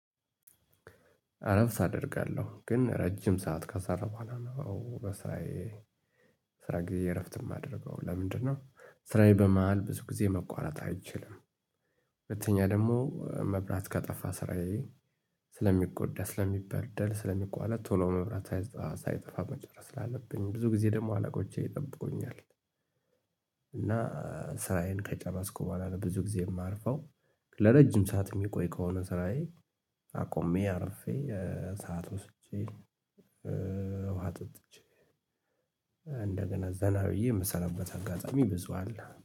አረፍት አደርጋለሁ ግን ረጅም ሰዓት ካሰራሁት በኋላ ነው በስራዬ፣ ስራ ጊዜ እረፍት የማደርገው። ለምንድነው? ስራዬ በመሃል ብዙ ጊዜ መቋረጥ አይችልም። ሁለተኛ ደግሞ መብራት ከጠፋ ስራዬ ስለሚጎዳ፣ ስለሚበደል፣ ስለሚቋለጥ ቶሎ መብራት ሳይጠፋ መጨረስ ላለብኝ ብዙ ጊዜ ደግሞ አላቆቼ ይጠብቁኛል። እና ስራዬን ከጨረስኩ በኋላ ብዙ ጊዜ የማርፈው። ለረጅም ሰዓት የሚቆይ ከሆነ ስራዬ አቆሜ፣ አርፌ፣ ሰዓት ወስጄ፣ ውሃ ጠጥቼ እንደገና ዘና ብዬ የምሰራበት አጋጣሚ ብዙ አለ።